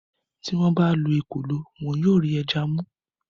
tí wọ́n bá lo “ ekòló ” wọn yóò rí ẹja mú.